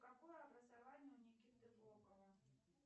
какое образование у никиты бокова